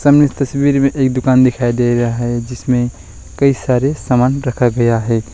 हमें इस तस्वीर में एक दुकान दिखाई दे रहा है जिसमें कई सारे सामान रखा गया है।